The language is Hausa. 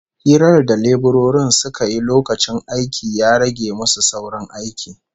Hirar da leburorin suka yi lokacin aikin ya rage musu saurin aikin